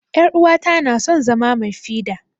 yar'uwata na son zama mai fida.